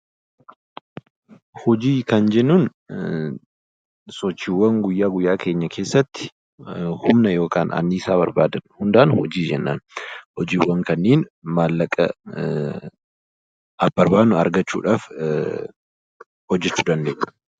Hojii kan jennuun sochiiwwan guyyaa guyyaa keenya keessatti humna yookaan annisaa barbaadan hundaan 'Hojii' jennaan. Hojiiwwan kanneen maallaqa barbaadnu argachuu dhaaf hojjechuu dandeenyu.